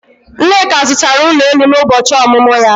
Nneka zụtara ụlọ elu n'ụbọchị ọmụmụ ya